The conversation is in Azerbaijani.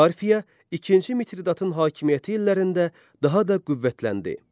Parfiya ikinci Mitridatın hakimiyyəti illərində daha da qüvvətləndi.